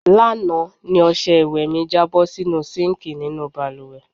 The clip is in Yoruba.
Lánàá ni os̩e̩ ìwè̩ mi jábó̩ sínú síǹkì nínú balùwè̩.